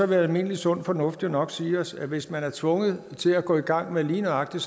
vil almindelig sund fornuft jo nok sige os at hvis man er tvunget til at gå i gang med lige nøjagtig